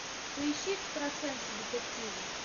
поищи экстрасенсы детективы